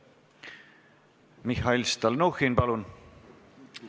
Mihhail Stalnuhhin, palun!